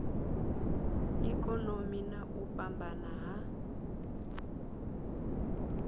ikonomi na u fhambana ha